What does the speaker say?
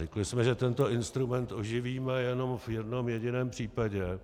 Řekli jsme, že tento instrument oživíme jenom v jednom jediném případě,